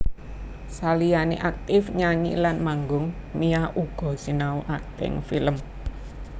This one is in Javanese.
Saliyané aktif nyanyi lan manggung Mia uga sinau akting film